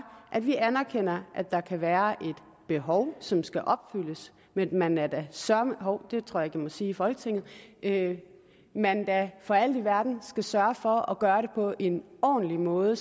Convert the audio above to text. at vi anerkender at der kan være et behov som skal opfyldes men at man da søreme hov det tror jeg må sige i folketinget at man da for alt i verden skal sørge for at gøre det på en ordentlig måde